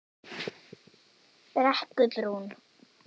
Brekkubrún